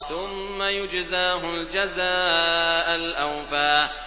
ثُمَّ يُجْزَاهُ الْجَزَاءَ الْأَوْفَىٰ